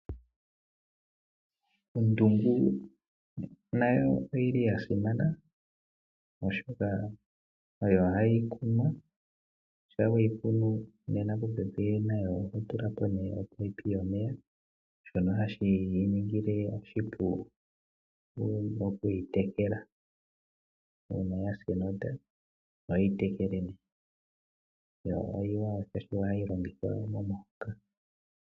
Ondungu nayo oyi li ya simana, oshoka nayo ohayi kunwa. Shampa we yi kunu popepi nayo oho tula po opaipi yomeya, shono hashi yi ningile oshipu okuyi tekela. Uuna ya sa enota ohoyi tekele. Ombwanawa, oshoka ohayi longithwa momahoka.